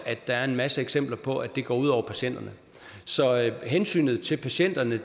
er en masse eksempler på at det går ud over patienterne hensynet til patienterne